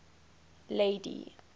lady